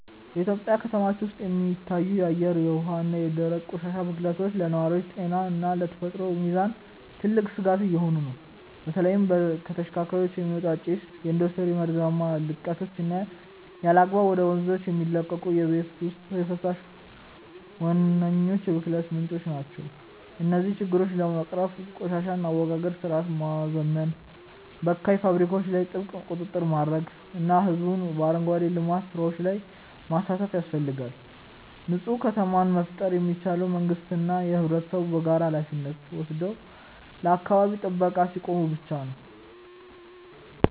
በኢትዮጵያ ከተሞች ውስጥ የሚታዩት የአየር፣ የውሃ እና የደረቅ ቆሻሻ ብክለቶች ለነዋሪዎች ጤና እና ለተፈጥሮ ሚዛን ትልቅ ስጋት እየሆኑ ነው። በተለይም ከተሽከርካሪዎች የሚወጣ ጭስ፣ የኢንዱስትሪ መርዛማ ልቀቶች እና ያለአግባብ ወደ ወንዞች የሚለቀቁ የቤት ውስጥ ፈሳሾች ዋነኞቹ የብክለት ምንጮች ናቸው። እነዚህን ችግሮች ለመቅረፍ የቆሻሻ አወጋገድ ስርዓትን ማዘመን፣ በካይ ፋብሪካዎች ላይ ጥብቅ ቁጥጥር ማድረግ እና ህዝቡን በአረንጓዴ ልማት ስራዎች ላይ ማሳተፍ ያስፈልጋል። ንፁህ ከተማን መፍጠር የሚቻለው መንግስትና ህብረተሰቡ በጋራ ሃላፊነት ወስደው ለአካባቢ ጥበቃ ሲቆሙ ብቻ ነው።